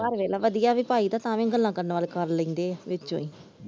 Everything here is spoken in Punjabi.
ਪਰ ਵੇਖਲਾ ਵਧੀਆ ਵੀ ਪਾਈ ਦਾ ਤਾ ਵੀ ਗੱਲਾਂ ਕਰਨ ਵਾਲੇ ਕਰਨ ਲੈਂਦੇ ਆ ਵਿੱਚੋ ਈ ।